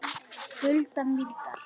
Hulda Mýrdal.